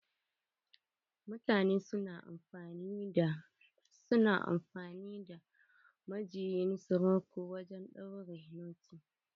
Mutane su na amfani da majuyin suruku wajen ɗaure noti.